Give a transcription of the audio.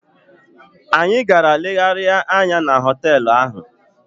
Anyị gara legharịa anya na họteelụ ahụ.